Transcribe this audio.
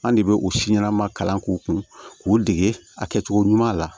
An de bɛ o si ɲɛnama kalan k'u kun k'u dege a kɛcogo ɲuman la